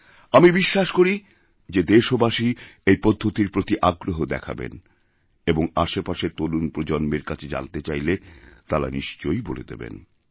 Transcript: আমি বিশ্বাস করি যে দেশবাসী এই পদ্ধতির প্রতিআগ্রহ দেখাবেন এবং আশেপাশের তরুণ প্রজন্মের কাছে জানতে চাইলে তাঁরা নিশ্চয়ই বলেদেবেন